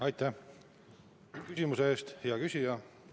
Aitäh küsimuse eest, hea küsija!